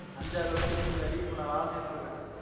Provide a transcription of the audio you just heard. அஞ்சு ஆறு வருஷத்துக்கு முன்னாடி இப்ப நான் வேலை செய்யறேன் இல்ல